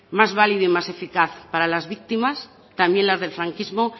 más valido y más eficaz para las víctimas también las del franquismo